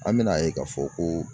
An bɛna ye k'a fɔ ko